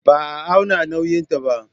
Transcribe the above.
Ba a auna nauyinta ba.